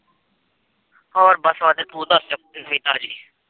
ਹੋਰ ਬਸ ਵਧੀਆ ਤੂੰ ਦੱਸ ਨਵੀਂ ਤਾਜ਼ੀ।